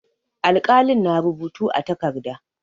Alƙalin na rubutu a takarda.